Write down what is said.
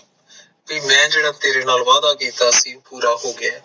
ਤੇ ਮੈਂ ਜਿਹੜਾ ਤੇਰੇ ਨਾਲ ਵਾਅਦਾ ਕੀਤਾ ਸੀ ਪੂਰਾ ਹੋ ਗਯਾ ਹੈ